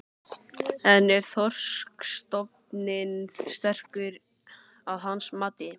En er þorskstofninn sterkur að hans mati?